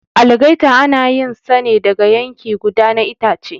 Algaita ana yin sa ne daga yanki guda na itace.